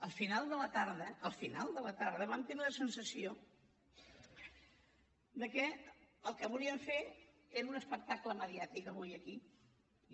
al final de la tarda al final de la tarda vam tenir la sensació de que el que volien fer era un espectacle mediàtic avui aquí